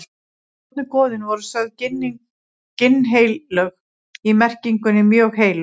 Fornu goðin voru sögð ginnheilög í merkingunni mjög heilög.